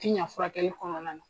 Tiɲan furakɛli kɔnɔna na.